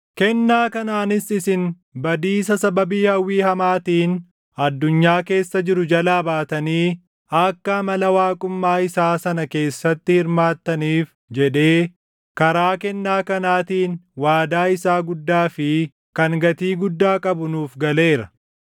Kennaa kanaanis isin badiisa sababii hawwii hamaatiin addunyaa keessa jiru jalaa baatanii akka amala waaqummaa isaa sana keessatti hirmaattaniif jedhee karaa kennaa kanaatiin waadaa isaa guddaa fi kan gatii guddaa qabu nuuf galeera.